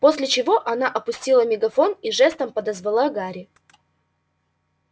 после чего она опустила мегафон и жестом подозвала гарри